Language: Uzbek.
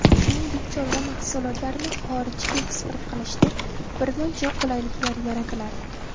Shuningdek, chorva mahsulotlarini xorijga eksport qilishda birmuncha qulayliklar yaratiladi.